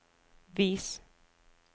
vis